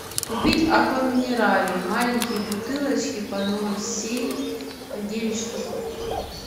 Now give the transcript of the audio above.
купить аква минерале маленькие бутылочки по ноль семь девять штук